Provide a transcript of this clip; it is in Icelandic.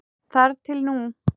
Þar til nú.